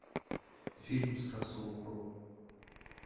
фильм с расселом кроу